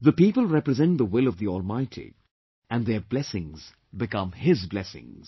The people represent the will of the Almighty and their blessings become His blessings